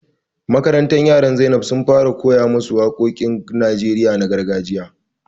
Makarantar yaran Zainab sun fara koya ma su waƙoƙin Najeriya na gargajiya jiya